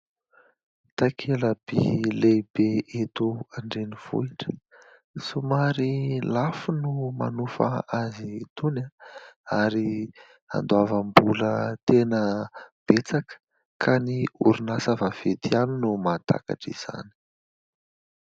Takela-by lehibe eto an-drenivohitra. Somary lafo no manofa azy itony ary andoavam-bola tena betsaka ka ny orinasa vaventy ihany no mahatakatra izany.